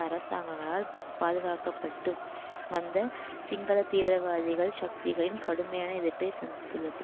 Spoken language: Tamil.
அரசாங்கங்களால் பாதுகாக்க பட்டு வந்த சிங்கள தீவிரவாதிகள் சக்திகளின் கடுமையான எதிர்ப்பை சந்தித்துள்ளது